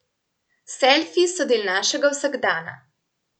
Selfiji so del našega vsakdana.